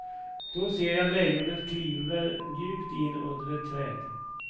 Då reser sig lejonet, kliver mjukt in under ett träd.